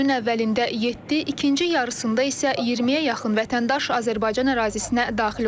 Günün əvvəlində 7, ikinci yarısında isə 20-yə yaxın vətəndaş Azərbaycan ərazisinə daxil olub.